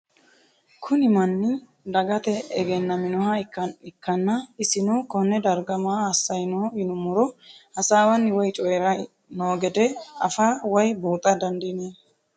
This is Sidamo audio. Kuni manni dagate egenaminoha ikana isino Kone darga maa asayi no yinumaro hasawani woyi coyirayi noo gede afaa woyi buxa dandinemo